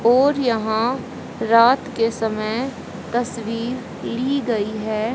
और यहां रात के समय तस्वीर ली गई है।